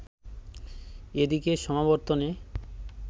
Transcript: এদিকে সমাবর্তনে